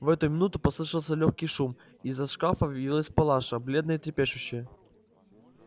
в эту минуту послышался лёгкий шум и из-за шкафа явилась палаша бледная трепещущая